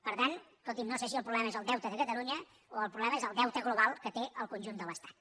per tant escolti’m no sé si el problema és el deute de catalunya o el problema és el deute global que té el conjunt de l’estat